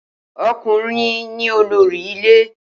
O̩kùnrin ni olórí ilé